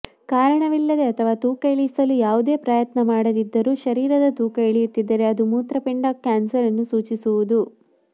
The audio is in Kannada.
ಕಾರಣವಿಲ್ಲದೆ ಅಥವಾ ತೂಕ ಇಳಿಸಲು ಯಾವುದೇ ಪ್ರಯತ್ನ ಮಾಡದಿದ್ದರೂ ಶರೀರದ ತೂಕ ಇಳಿಯುತ್ತಿದ್ದರೆ ಅದು ಮೂತ್ರಪಿಂಡ ಕ್ಯಾನ್ಸರ್ನ್ನು ಸೂಚಿಸಬಹುದು